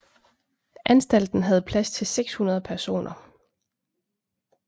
Anstalten havde plads til 600 personer